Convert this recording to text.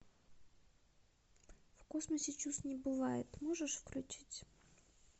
в космосе чувств не бывает можешь включить